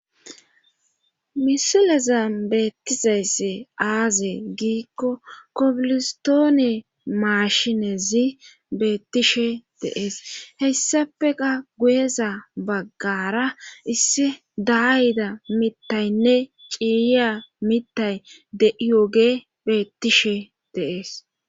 Misilaza beettizayssi aaze giikko kopilistoone maashinezi beettishe deees heyssafeqa guyeza baggara isse daayida mitaynne ciiya mitay de7iyoge beettishe deees